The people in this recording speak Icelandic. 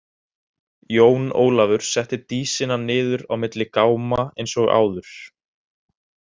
Jón Ólafur setti Dísina niður á milli gáma eins og áður.